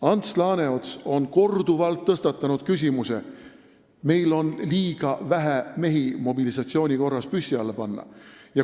Ants Laaneots on korduvalt tõstatanud teema, et meil on liiga vähe mehi mobilisatsiooni korras püssi alla panna.